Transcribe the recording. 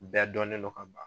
Bɛɛ dɔnnen do ka ban.